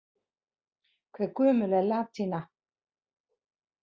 Hve gömul er latína?